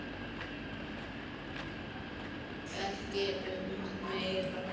Ég bið ekki um meira.